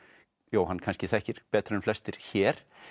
Jóhann kannski þekkir betur en flestir hér